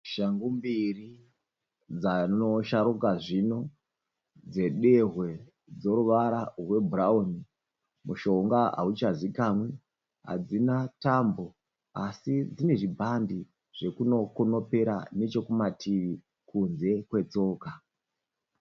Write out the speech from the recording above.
Shangu mbiri dzanosharuka zvino dzedehwe dzeruvara rwebhurauni mushonga hauchazivikanwe hadzina tambo asi dzine chibhande zvekuno kunopera nechekumativi kunze kwetsoka.